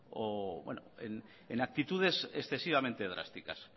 o en actitudes excesivamente drásticas